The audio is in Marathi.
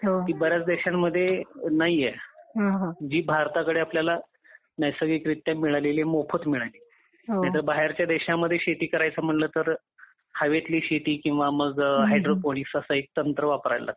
ती बऱ्याच देशांमध्ये नाहीये हो हो आपल्याला जी भारताकडे आपल्याला नैसर्गिकरित्या मिळालेली मोफत मिळालेली आहे. नाहीतर बाहेरच्या देशात शेती करायचं म्हटलं तर हवेतली शेती किंवा मग हायड्रोपोलिस असं एक तंत्र वापरावं लागतं .